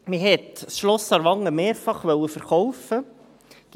Man hat das Schloss Aarwangen mehrfach verkaufen wollen.